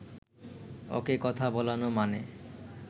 ওকে কথা বলানো মানে